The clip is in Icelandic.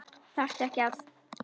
Þarftu ekki að.?